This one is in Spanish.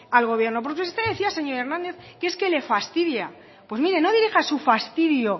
al gobierno porque usted decía señor hernández que es que le fastidia pues mire no dirija su fastidio